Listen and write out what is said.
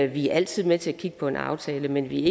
vi er altid med til at kigge på en aftale man vi